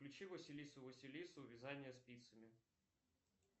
включи василису василису вязание спицами